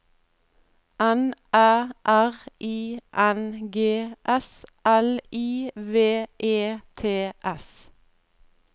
N Æ R I N G S L I V E T S